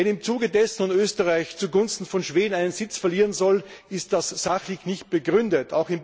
Wenn im Zuge dessen nun Österreich zugunsten von Schweden einen Sitz verlieren soll, ist das sachlich nicht begründet.